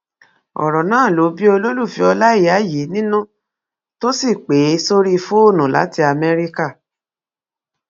ọrọ náà ló bí olólùfẹ ọláìyá yìí nínú tó sì pè é sórí fóònù láti amẹríkà